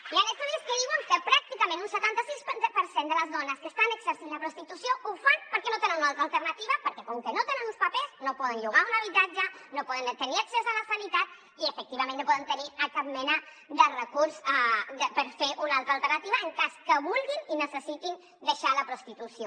hi han estudis que diuen que pràcticament un setanta sis per cent de les dones que estan exercint la prostitució ho fan perquè no tenen una altra alternativa perquè com que no tenen uns papers no poden llogar un habitatge no poden tenir accés a la sanitat i efectivament no poden tenir cap mena de recurs per fer una altra alternativa en cas que vulguin i necessitin deixar la prostitució